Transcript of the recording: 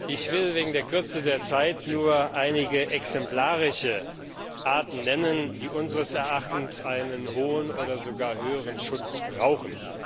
Ich will wegen der Kürze der Zeit nur einige exemplarische Arten nennen, die unseres Erachtens einen hohen oder sogar höheren Schutz brauchen.